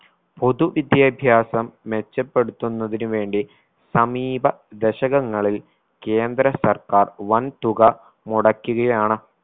പൊതു വിദ്യാഭ്യാസം മെച്ചപ്പെടുത്തുന്നതിന് വേണ്ടി സമീപ ദശകങ്ങളിൽ കേന്ദ്ര സർക്കാർ വൻ തുക മുടക്കികയാണ്